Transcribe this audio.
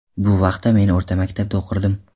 Bu vaqtda men o‘rta maktabda o‘qirdim”.